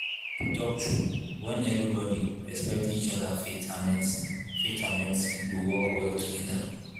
to talk true when everybody respect each other faith and medicine faith and medicine go work well together.